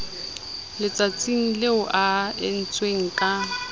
letsatsing leo e entsweng ka